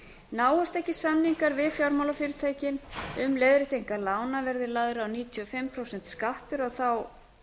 náist ekki samningar við fjármálafyrirtækin um leiðréttingar lána verði lagður níutíu og fimm prósenta skattur á þá